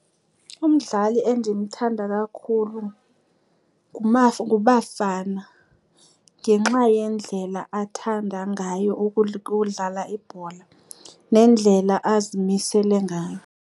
Umdlali endimthanda kakhulu nguBafana ngenxa yendlela athanda ngayo ukudlala ibhola nendlela azimisele ngayo.